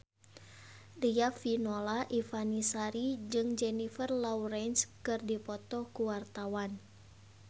Riafinola Ifani Sari jeung Jennifer Lawrence keur dipoto ku wartawan